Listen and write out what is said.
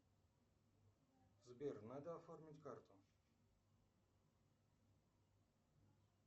сбер надо оформить карту